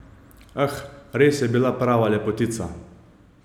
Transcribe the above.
Ah, res je bila prava lepotica!